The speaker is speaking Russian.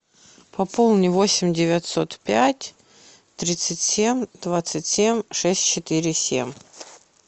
пополни восемь девятьсот пять тридцать семь двадцать семь шесть четыре семь